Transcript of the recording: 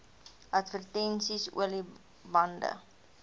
advertensies olie bande